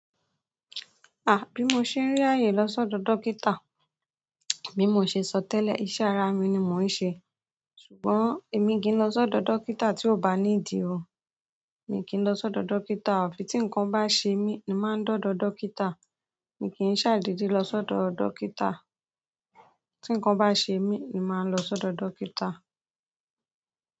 Ah! Bí mo ṣe n rí ààyè lọ́ sọ́dọ̀ dókítà. Bí mo ṣe sọ tẹ́lẹ̀, iṣẹ́ ara mi ni mò ń ṣe. Ṣùgbọ́n emi ki n lo sodo dókítà ti o ba nidi o mi kì í lọ sọ́dọ̀ dókítà, àfi tí nǹkan bá ṣe mí ni màá ń do dọ̀ dókítà. Èmi kì í ṣàìdede lọ sọ́dọ̀ dókítà. Tí nǹkan bá ṣe mí, ni màá lọ sọ́dọ̀ dókítà.